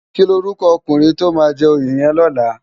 Kilórúkò òkúrin tó má jè óyé yèn lòlá?